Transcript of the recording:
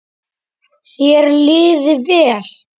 Þér liði vel.